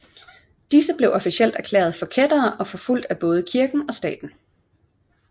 Disse blev officielt erklærede for kættere og blev forfulgte af både kirken og staten